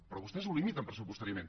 però vostès ho limiten pressupostàriament